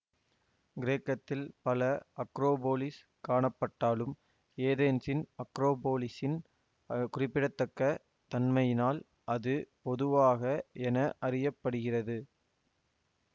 கிரேக்கத்தில் பல அக்ரோபோலிஸ் காணப்பட்டாலும் ஏதென்ஸின் அக்ரோபோலிஸின் குறிப்பிடத்தக்க தன்மையினால் அது பொதுவாக என அறிய படுகிறது